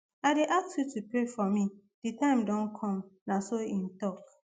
i dey ask you to pray for me di time don come na so im tok